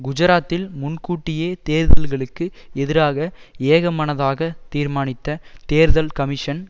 குஜராத்தில் முன் கூட்டிய தேர்தல்களுக்கு எதிராக ஏகமனதாக தீர்மானித்த தேர்தல் கமிஷன்